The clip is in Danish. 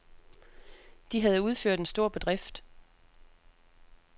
De havde udført en stor bedrift.